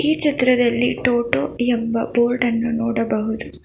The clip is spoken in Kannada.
ಈ ಚಿತ್ರದಲ್ಲಿ ಟೋಟೋ ಎಂಬ ಬೋರ್ಡ್ ಅನ್ನು ನೋಡಬಹುದು.